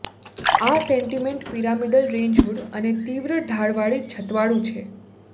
આ sentiment pyramidal range hood અને તીવ્ર ઢાળવાળી છતવાળું છે